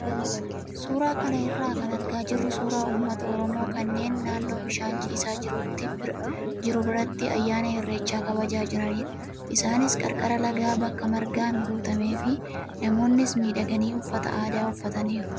Suuraa kana irraa kan argaa jirru suuraa uummata oromoo kanneen naannoo bishaan ciisaa jiru biratti ayyaana irreechaa kabajaa jiranidha. Isaanis qarqara lagaa bakka margaan guutamee fi namoonnis miidhaganii uffata aadaa uffataniiru.